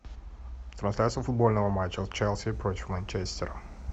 трансляция футбольного матча челси против манчестер